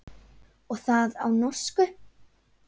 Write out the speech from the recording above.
Og það á norsku.